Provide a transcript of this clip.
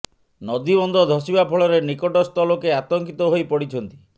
ନଦୀବନ୍ଧ ଧସିବା ଫଳରେ ନିକଟସ୍ଥ ଲୋକେ ଆତଙ୍କିତ ହୋଇ ପଡିଛନ୍ତି